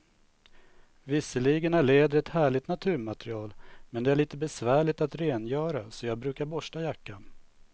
Visserligen är läder ett härligt naturmaterial, men det är lite besvärligt att rengöra, så jag brukar borsta jackan.